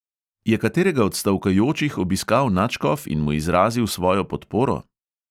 Je katerega od stavkajočih obiskal nadškof in mu izrazil svojo podporo?